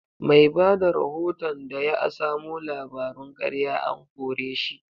Mai bada rahoton da ya asamo labarun karya an kore shi.